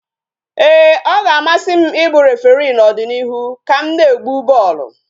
Ee, ọ ga-amasị m ị bụ referii n'ọdịnịihu ka m na-egbu bọọlụ